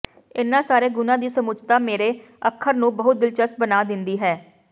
ਇਨ੍ਹਾਂ ਸਾਰੇ ਗੁਣਾਂ ਦੀ ਸਮੁੱਚਤਾ ਮੇਰੇ ਅੱਖਰ ਨੂੰ ਬਹੁਤ ਦਿਲਚਸਪ ਬਣਾ ਦਿੰਦੀ ਹੈ